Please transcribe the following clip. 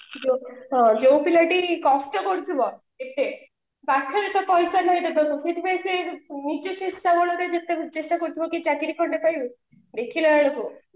ଯୋଉ ପିଲାଟି କଷ୍ଟ କରୁଥିବ ଟିକେ ପାଖରେ ତ ପଇସା ନାହିଁ ତାଙ୍କର ସେଇଥି ପାଇଁ ସେ ନିଜ ଚେଷ୍ଟା ବଳରେ ଯେତେବି ଚେଷ୍ଟା କରୁଥିବ କି ଚାକିରି ଖଣ୍ଡେ ପାଇବୁ ଦେଖିଲା ବେଳକୁ